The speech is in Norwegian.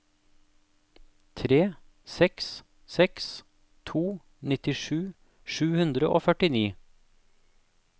tre seks seks to nittisju sju hundre og førtini